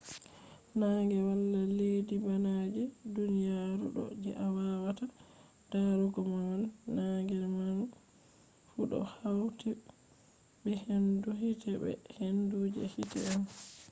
nange wala leddi bana je duniyaru do je a wawata darugo do man. nange maan fu do hauti be hendu hite be hendu je hite on